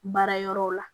Baara yɔrɔ la